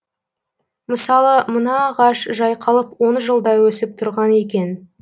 мысалы мына ағаш жайқалып он жылдай өсіп тұрған екен